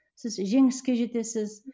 сіз жеңіске жетесіз